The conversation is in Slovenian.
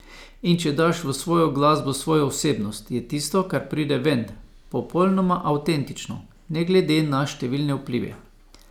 In če daš v svojo glasbo svojo osebnost, je tisto, kar pride ven, popolnoma avtentično, ne glede na številne vplive.